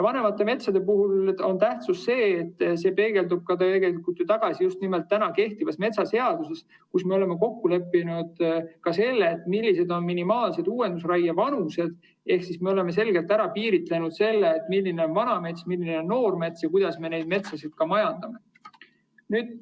Vanemate metsade tähtsus peegeldub tagasi ka kehtivas metsaseaduses, kus me oleme kokku leppinud, millised on minimaalsed uuendusraie vanused, ehk me oleme selgelt ära piiritlenud, milline on vana mets, milline on noor mets ja kuidas me neid metsasid majandame.